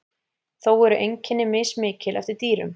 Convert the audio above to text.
Þó eru einkenni mismikil eftir dýrum.